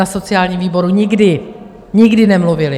Na sociálním výboru nikdy, nikdy nemluvili.